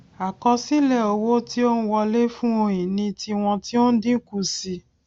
àkosile owo tí ó n wọlé fun ohun ìní tiwọn ti o n dínkù sí i